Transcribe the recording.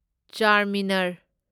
Charminar